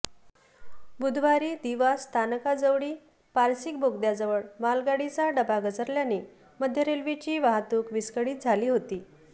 बुधवारी दिवा स्थानकाजवळी पारसिक बोगद्याजवळ मालगाडीचा डबा घसरल्याने मध्य रेल्वेची वाहतूक विस्कळीत झाली होती